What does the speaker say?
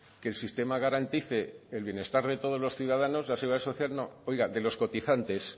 que el sistema de garantice el bienestar de todos los ciudadanos la seguridad social no oiga de los cotizantes